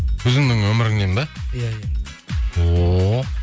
өзіңнің өміріңнен бе иә иә ооо